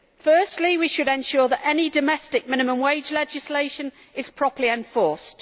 Firstly, we should ensure that any domestic minimum wage legislation is properly enforced.